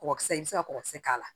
Kɔkɔkisɛ i bɛ se ka kɔkɔ kisɛ k'a la